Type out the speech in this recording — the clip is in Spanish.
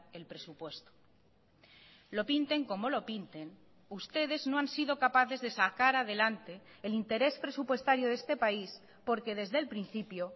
el presupuesto lo pinten como lo pinten ustedes no han sido capaces de sacar adelante el interés presupuestario de este país porque desde el principio